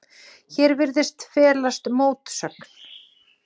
Hér virðist felast mótsögn.